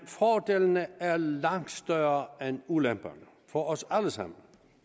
fordelene er langt større end ulemperne for os alle sammen